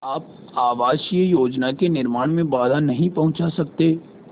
आप आवासीय योजना के निर्माण में बाधा नहीं पहुँचा सकते